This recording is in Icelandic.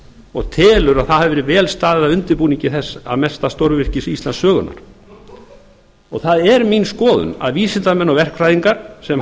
og telur að vel hafi verið staðið að undirbúningi þessa mesta stórvirkis íslandssögunnar það er mín skoðun að vísindamenn og verkfræðingar sem þar